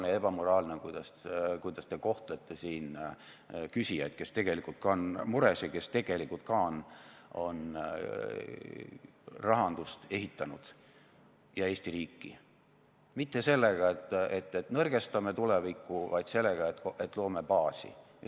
Ning ebamoraalne on, kuidas te kohtlete siin küsijaid, kes tegelikult on mures ja kes tegelikult on ehitanud rahandust ja Eesti riiki – mitte sellega, et nõrgestame tulevikku, vaid sellega, et loome baasi.